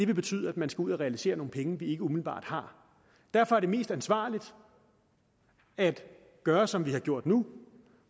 betyde at man skal ud at realisere nogle penge ikke umiddelbart har derfor er det mest ansvarligt at gøre som vi har gjort nu